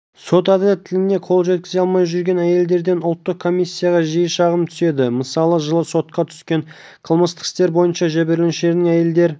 сот әділеттілігіне қол жеткізе алмай жүрген әйелдерден ұлттық комиссияға жиі шағым түседі мысалы жылы сотқа түскен қылмыстық істер бойынша жәбірленушілердің әйелдер